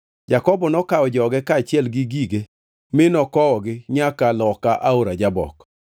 Jakobo nokawo joge kaachiel gi gige mi nokowogi nyaka loka aora Jabok.